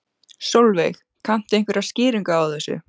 Sólveig: Kanntu einhverja skýringu á þessu?